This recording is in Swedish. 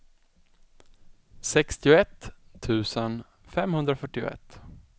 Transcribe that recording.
sextioett tusen femhundrafyrtioett